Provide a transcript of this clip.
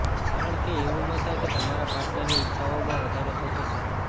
કારણકે એવુ ન થાય કે તમારા પાર્ટનરની ઇચ્છાઓમાં વધારો થતો જાય